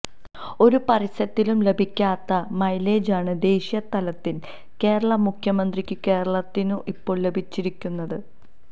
ഒരു പരസ്യത്തിലും ലഭിക്കാത്ത മൈലേജാണ് ദേശീയ തലത്തില് കേരളാ മുഖ്യമന്ത്രിക്കും കേരളത്തിനും ഇപ്പോള് ലഭിച്ചിരിക്കുന്നത്